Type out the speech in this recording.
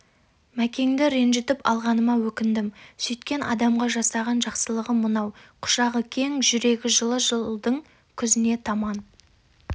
мәкеңді ренжітіп алғаныма өкіндім сөйткен адамға жасаған жақсылығым мынау құшағы кең жүрегі жылы жылдың күзіне таман